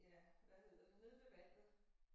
Ja hvad hedder det nede ved vandet